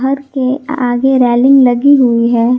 के आगे रेलिंग लगी हुई है।